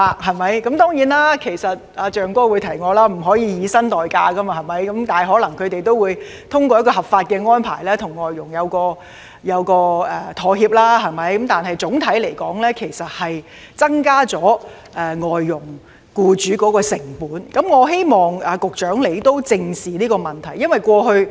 當然，"象哥"已提醒我不可以以薪代假，但他們可能會通過合法的安排與外傭協商，但總體而言會增加外傭僱主的成本，我希望局長正視這問題。